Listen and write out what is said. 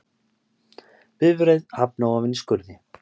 Bifreið hafnaði ofan í skurði